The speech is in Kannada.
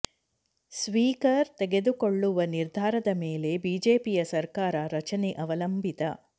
ಸ್ಪೀಕರ್ ತೆಗೆದುಕೊಳ್ಳುವ ನಿರ್ಧಾರದ ಮೇಲೆ ಬಿಜೆಪಿಯ ಸರ್ಕಾರ ರಚನೆ ಅವಲಂಬಿತ